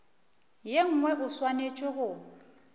ye nngwe o swanetše go